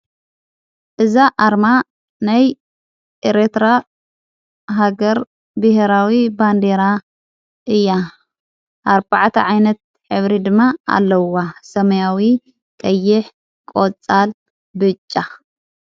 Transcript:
እዛ ኣርማ ናይ ኤሬትራ ሃገር ብሕራዊ ባንዴራ እያ ኣዕባዕተ ዓይነት ኅብሪ ድማ ኣለዋ ሰማያዊ ቀይሕ ቖጻል ብጫ።